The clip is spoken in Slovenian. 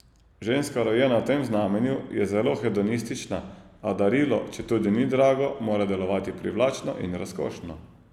Ženska, rojena v tem znamenju, je zelo hedonistična, a darilo, četudi ni drago, mora delovati privlačno in razkošno.